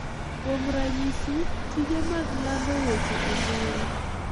Kuom ranyisi, tije mag lando weche e mbui,